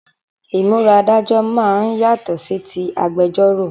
Ìmúra Adájọ́ máa ń yàtọ̀ sí tí agbẹjọ́ró